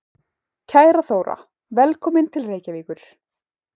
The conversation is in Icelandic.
Kæra Þóra. Velkomin til Reykjavíkur.